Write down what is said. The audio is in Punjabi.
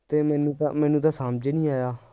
ਤੇ ਮੈਨੂੰ ਤਾਂ ਮੈਨੂੰ ਤਾਂ ਸਮਝ ਈ ਨਹੀਂ ਆਇਆ